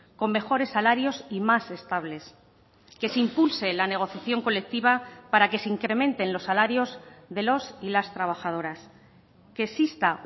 con mejores salarios y más estables que se impulse la negociación colectiva para que se incrementen los salarios de los y las trabajadoras que exista